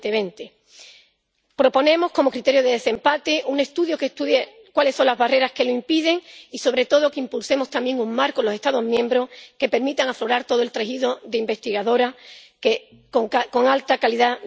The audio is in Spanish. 2020. Proponemos como criterio de desempate un estudio que determine cuáles son las barreras que lo impiden y, sobre todo, que impulsemos también un marco en los Estados miembros que permita aflorar todo el tejido de investigadoras con proyectos de alta calidad.